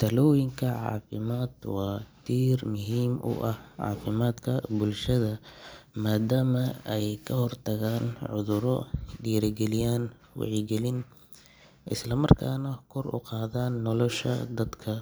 Talooyinka caafimaad waa tiir muhiim u ah caafimaadka bulshada maadaama ay ka hortagaan cudurro, dhiirrigeliyaan wacyigelin, isla markaana kor u qaadaan nolosha dadka.